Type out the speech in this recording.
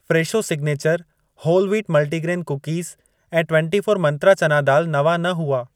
Fresho signature whole wheat multigrain cookies ऐं twenty four Mantra चना दाल नवां न हुआ।